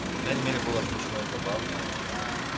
по крайней мере было смешно и забавно да